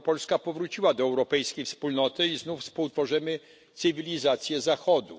r. Polska powróciła do europejskiej wspólnoty i znów współtworzymy cywilizację Zachodu.